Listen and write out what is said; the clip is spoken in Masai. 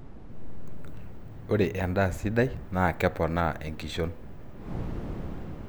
ore endaa sidai naa keponaa enkishon